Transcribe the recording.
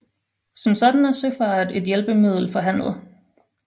Som sådan er søfart et hjælpemiddel for handel